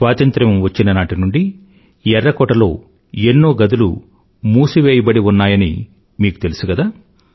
స్వాతంత్రం వచ్చిన నాటి నుండీ ఎర్రకోటలో ఎన్నో గదులు మూసివేయబడి ఉన్నాయాని మీకు తెలిసు కదా